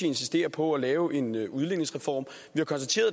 insisterer på at lave en udligningsreform